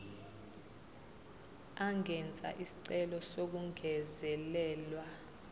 angenza isicelo sokungezelelwa